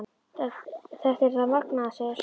Þetta er það magnaða, segja sumir.